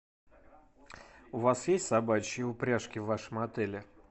у вас есть собачьи упряжки в вашем отеле